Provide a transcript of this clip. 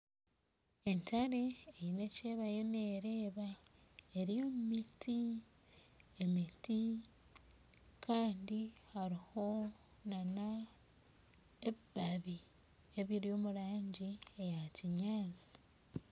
Entare Eine eki eriyo eriyo neereeba eri omu miti emiti Kandi hariho nana ebibabi ebiri omu rangi ya kinyatsi